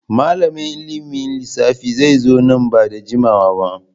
Malamin ilimin lissafi zai zo nan ba da jimawa ba.